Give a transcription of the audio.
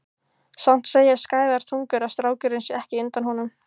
Samt segja skæðar tungur að strákurinn sé ekki undan honum.